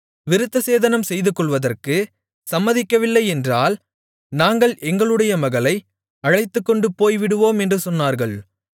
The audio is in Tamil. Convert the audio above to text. விருத்தசேதனம் செய்துகொள்வதற்கு சம்மதிக்கவில்லை என்றால் நாங்கள் எங்களுடைய மகளை அழைத்துக்கொண்டு போய்விடுவோம் என்று சொன்னார்கள்